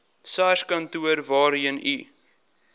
sarskantoor waarheen u